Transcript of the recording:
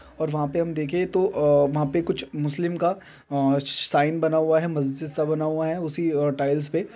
--और वहाँ पे हम देखे तो अअअ वहाँ पे कुछ मुस्लिम का अअअ साइन बना हुआ है मस्जिद सा बना हुआ हैउसी टाइल्स पे।